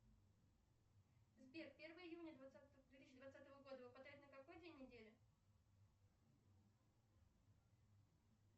сбер первое июня двадцатого две тысячи двадцатого года выпадает на какой день недели